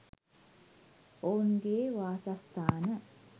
ඔවුන්ගේ වාසස්ථාන.